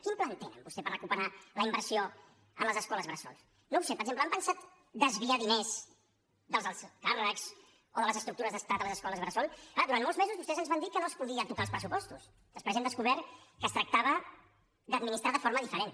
quin pla tenen vostès per recuperar la inversió en les escoles bressol no ho sé per exemple han pensat a desviar diners dels alts càrrecs o de les estructures d’estat a les escoles bressol clar durant molts mesos vostès ens van dir que no es podien tocar els pressupostos després hem descobert que es tractava d’administrar de forma diferent